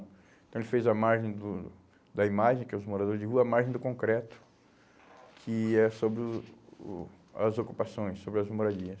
Então ele fez a margem do da imagem, que é os moradores de rua, a margem do concreto, que é sobre o o as ocupações, sobre as moradias.